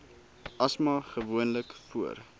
asma gewoonlik voor